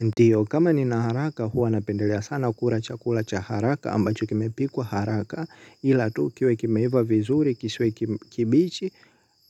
Ndio kama ni naharaka huwa napendelea sana kula chakula chaharaka ambacho kimepikwa haraka ila tu kiwe kimeiva vizuri kisiwe kibichi